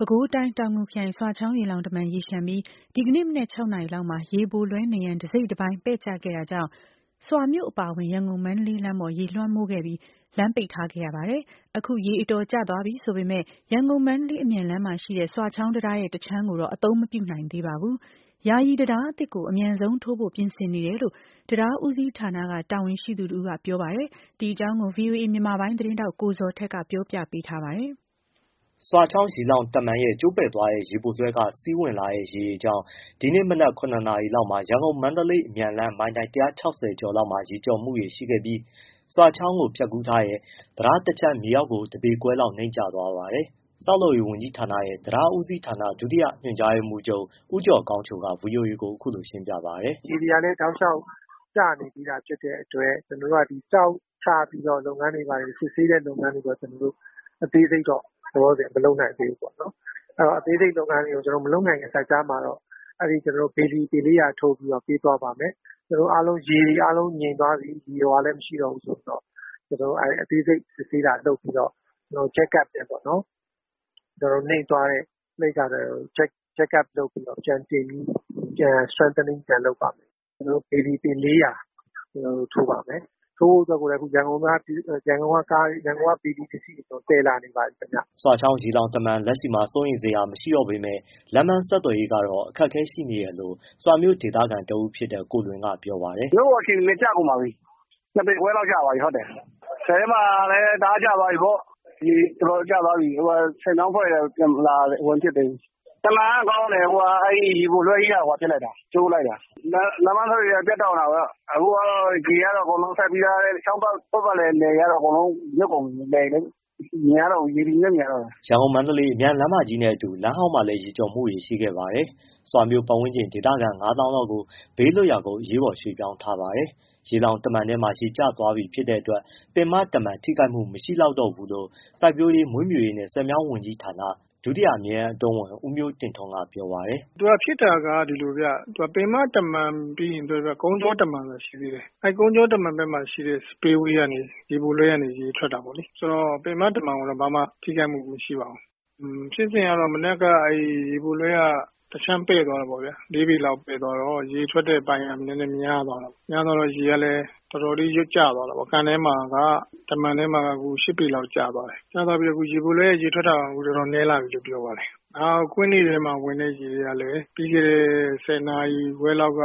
ပဲခူးတိုင်း၊ တောင်ငူခရိုင်ဆွာချောင်းရေလှောင်တမံ ရေလျှံပြီးဒီနေ့မနက်၆နာရီလောက်မှာ ရေပိုလွဲနံရံတစိတ်တပိုင်းပဲ့ကျခဲ့တာကြောင့်ဆွာမြို့အပါအဝင်ရန်ကုန်-မန္တလေးလမ်းပေါ် ရေလွှမ်းမိုးခဲ့ပြီး လမ်းပိတ်ထားခဲ့ရပါတယ်။အခု ရေတော်ကျသွားပြီဆိုပေမဲ့ ရန်ကုန်-မန္တလေးအမြန်လမ်းမှာရှိတဲ့ ဆွာချောင်းတံတား ရဲ့တစ်ခြမ်းကိုတော့ အသုံးမပြုနိုင်သေးပါဘူး။ ယာယီတံတားအသစ်ကို အမြန်ဆုံးထိုးဖို့ပြင်ဆင်နေတယ်လို့ တံတားဦးစီးဌာနကတာဝန်ရှိသူတစ်ဦးက ပြောပါတယ်။ဒီအကြောင်းကိုဗွီအိုအေ မြန်မာပိုင်းသတင်းထောက် ကိုဇော်ထက်က ပြောပြပေးထားပါတယ်။ ဆွာချောင်းရေလှောင်တမံရဲ့ကျိုးပဲ့သွားတဲ့ ရေပိုလွှဲကစီးလာတဲ့ ရေတွေကြောင့် ဒီနေ့မနက်၇နာရီလောက်မှာ ရန်ကုန်-မန္တလေးအမြန်လမ်းမိုင်တိုင် ၁၆၇နာရီလောက်မှာ ရန်ကုန်-မန္တလေးအမြန် လမ်း မိုင်တိုင် ၁၆၀ကျော်လောက်မှာ ရေကျော်မှုတွေရှိခဲ့ပြီး ဆွာချောင်းကိုဖြတ်ကူးထားတဲ့တံတားတစ်ခြမ်း မြေအောက်ကို တစ်ပေခွဲလောက် နိမ့်ကျသွားပါတယ်။ ဆောက်လုပ်ရေးဝန်ကြီးဌာနရဲ့တံတားဦးစီးဌာနဒုတိယညွှန်ကြားရေးမှူးချုပ်ဦးကျော်ကောင်းချိုကVOA ကိုအခုလိုရှင်းပြပါတယ်။ “ရေတွေကလည်း တောက်လျှောက်ကျနေပြီဖြစ်တဲ့ အတွက်ကျွန်တော်တို့က ဒီကျောက်ချပြီးတော့လုပ်ငန်းတွေဘာတွေစစ်ဆေးတဲ့လုပ်ငန်းတွေကျွန်တော်တို့အသေးစိတ်တော့ လောလောဆယ် မလုပ်နိုင်သေးဘူး။ အသေးစိတ်လုပ်ငန်းတွေ မလုပ်နိုင်ခင်စပ်ကြား မှာအဲဒီ ဘေလီပျဉ်၄၀၀ထိုးြါ့ပီးတော့ပေးသွားပါမယ်။ ရေတွေ အားလုံးငြိမ်သွားပြီဆိုရင်အသေးစိတ်စစ်ဆေးတာလုပ်ပြီးတော့နိမ့်သွားတာကိုJerk Up လုပ်ပြီးတော့ Strengthingပြန်လုပ်ပါမယ်။ ဘေလီပျဉ် ၄၀၀ထိုးပါမယ်။ ထိုးဖို့အတွက်ကိုလည်းရန်ကုန်ကနေ ဘေလီပစ္စည်းတွေသယ်လာနေပါပြီ။” ဆွာချောင်းရေလှောင်တမံလက်ရှိမှာစိုးရိမ်စရာမှရှိတော့ပေမဲ့လမ်းပန်းဆက်သွယ်ရေးကတော့အခက်အခဲရှိနေတယ်လို့ဆွာမြို့ဒေသခံတစ်ဦးဖြစ်တဲ့ကိုလွင်က ပြောပါတယ်။ “မြို့အခြေအနေလည်းကျကုန်ပါပြီး။ နှစ်ပေခွဲလောက်ကျ သွားပြီဆည်ထဲမှာလည်း တအား ကျသွားပြီပေါ့။ တော်တော်ကျသွားပြီဆည်မြောင်းအဖွဲ့တွေကတော့ ပြန်မလာသေး။ တမံကကောင်းတယ် အဲဒီရေပိုလွှဲကြီးက ဟိုဟာဖြစ်လိုက်တာ။ ကျိုးလိုက်တာ။ လမ်းပန်းဆက်သွယ်ရေး ကတော့ ပြတ်တောက်နေတာပေါ့အခုကတော့ ရေကတော့ ချောင်းပတ်ပတ်လည်လယ်တွေကတော့အကုန်လုံး မြုပ်ကုန် ပြီ ရေတွေပဲမြင်ရတော့တယ်။” ရန်ကုန်-မန္တလေးအမြန်လမ်းမကြီးနဲ့အတူလမ်းဟောင်းမှာလည်း ရေကျော်မှုတွေ ရှိခဲ့ပါတယ်။ ဆွာမြို့ပတ်ဝန်းကျင် ဒေသခံငါသောင်းလောက်ကို ဘေးလွတ်ရာကို အရေးပေါ်ရွှေ့ပြောင်းထားပါတယ်။ ရေလှောင်တမံထဲမှာလည်းရေကျ သွားပြီဖြစ်တဲ့အတွက် ပင်မတမံထိခိုက်မှုထပ်ပြီးမရှိလောက်တော့လို့စိုက်ပျိုးရေး၊ မွေးမြူရေးနှင့် ဆည်မြောင်းဝန်ကြီးဌာန ဒုတိယအမြဲတမ်းအတွင်းဝန် ဦးမျိုးတင့်ထွန်းကပြောပါတယ်။ “ဖြစ်တာကဒီလိုဗျပင်မတမံပြီးရင်ကုန်းကြောတမံဆိုတာရှိသေးတယ်။အဲဒီကုန်းကြောတမံဘက်မှာရှိတဲ့ ရေပိုလွှဲကနေ ရေထွက်တာ ပေါ့လေ။ ဆိုတော့ ပင်မတမံကိုတော့ဘာမှထိခိုက်မှုမရှိပါဘူး။ ဖြစ်စဉ်ကတော့ မနက်က အဲဒီရေပိုလွှဲကတစ်ခြမ်းပဲ့သွားတယ်ပေါ့ဗျာ။ လေးပေလောက်ပဲ့သွားတော့ ရေထွက်တဲ့အပိုင်းကနည်းနည်းများသွားတာပေါ့။များသွားတော့ ရေကလည်း တော်တော်လေးကျသွားတာပေါ့။ကန်ထဲမှာကတမံထဲမှာရှစ်ပေလောက်ကျသွားတယ်။ကျသွားပြီးတော့အခုရေပိုလွှဲရဲ့ ရေထွက်တာတော်တော်နည်းလာပြီလို့ ပြောပါတယ်။ နောက်ကွင်းတွေထဲမှာဝင်တဲ့ရေကလည်းပြီးခဲ့တဲ့ဆယ်နာရီခွဲလောက်က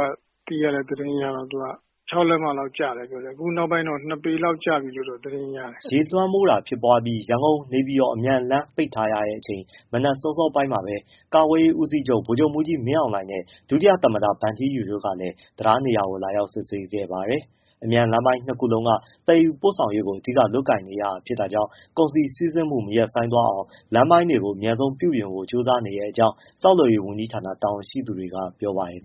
သိရတဲ့သတင်းအရ၆လက်မ လောက်ကျတယ်ပြောတယ်။ နောက်ပိုင်းတော့ ၂ပေလောက်ကျပြီလို့ သတင်းရတယ်။” ရေလွမ်းမိုးတာဖြစ်ပွားပြီးရန်ကုန်-နေပြည်တော်မန္တလေးအမြန်လမ်းပိတ်ထားရတဲ့အချိန်၊မနက်စောစောပိုင်းမှာပဲကာကွယ်ရေးဦးစီးချုပ်ဗိုလ်ချုပ်မှူးကြီးမင်းအောင်လှိုင်နဲ့၊ဒုတိယသမ္မတဗန်ထီးယူတို့လည်းတံတားနေရာကိုလာရောက်စစ်ဆေးခဲ့ပါတယ်။ အမြန်လမ်းပိုင်းနှစ်ခုလုံးကသယ်ယူပို့ဆောင်ရေးကိုအဓိကလုပ်ကိုင်နေရတာဖြစ်တာကြောင့်ကုန်စည်စီးဆင်းမှုမရပ်ဆိုင်းသွားအောင်လမ်းပိုင်းတွေကိုအမြန်ဆုံးပြုပြင်ဖို့ကြိုးစားနေတဲ့အကြောင်း ဆောက်လုပ်ရေးဝန်ကြီးဌာနတာဝန်ရှိသူတွေက ပြောပါတယ်